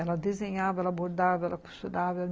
Ela desenhava, ela bordava, ela costurava.